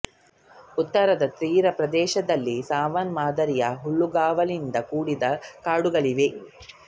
ಉತ್ತರದ ತೀರಪ್ರದೇಶ ದಲ್ಲಿ ಸವನ್ನ ಮಾದರಿಯ ಹುಲ್ಲುಗಾವಲಿಂದ ಕೂಡಿದ ಕಾಡುಗಳಿವೆ